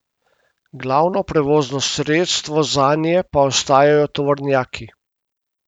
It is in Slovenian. Glavno prevozno sredstvo zanje pa ostajajo tovornjaki.